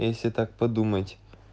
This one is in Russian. если так подумать